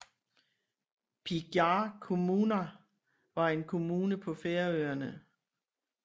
Bíggjar kommuna var en kommune på Færøerne